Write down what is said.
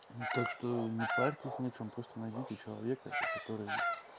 так что не парьтесь на чем просто найдите человека который